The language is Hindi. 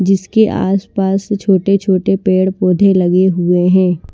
जिसके आसपास छोटे-छोटे पेड़-पौधे लगे हुए हैं।